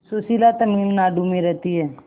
सुशीला तमिलनाडु में रहती है